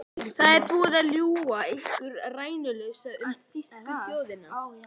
Það er búið að ljúga ykkur rænulausa um þýsku þjóðina.